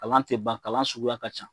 Kalan tɛ ban kalan suguya ka ca.